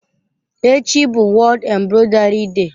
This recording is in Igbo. Echi bụ World Embroidery Day.